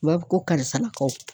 U b'a fɔ ko karisa lakaw